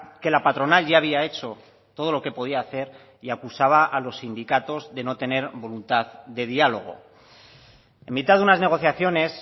que la patronal ya había hecho todo lo que podía hacer y acusaba a los sindicatos de no tener voluntad de diálogo en mitad de unas negociaciones